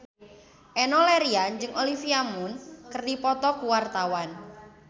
Enno Lerian jeung Olivia Munn keur dipoto ku wartawan